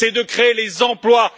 C'est de créer les emplois.